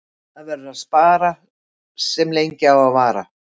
Það verður að spara sem lengi á að vara.